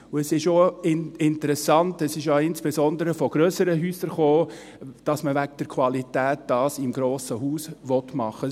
Es ist interessant, dies kam insbesondere von grösseren Häusern, dass man es wegen der Qualität im grossen Haus machen will.